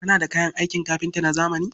Kana da kayan aikin kafinta na zamani?